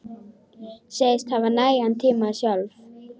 Segist hafa nægan tíma sjálf.